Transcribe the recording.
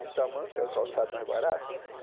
E tamanco é o calçado mais barato.